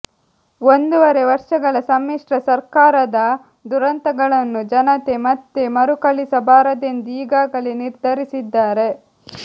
ಒಂದೂವರೆ ವರ್ಷಗಳ ಸಮ್ಮಿಶ್ರ ಸರ್ಕಾರದ ದುರಂತಗಳನ್ನು ಜನತೆ ಮತ್ತೆ ಮರುಕಳಿಸಬಾರದೆಂದು ಈಗಾಗಲೇ ನಿರ್ಧರಿಸಿದ್ದಾರೆ